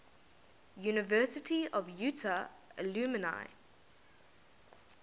university of utah alumni